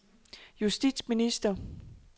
justitsminister